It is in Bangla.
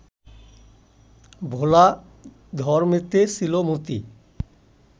ভোলা ধরমেতে ছিল মতি